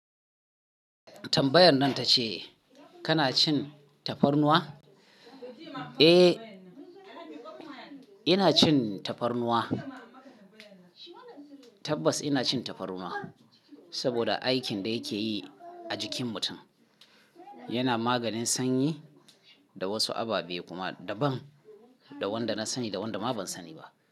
Tambayar nan ta ce kana cin tafarnuwa? Eh, ina cin tafarnuwa. Tabbas ina cin tafarnuwa saboda aikin da yake yi a jikin mutum. Yana maganin sanyi da wasu ababe kuma daban da wanda na sani da wanda ba na sani ba.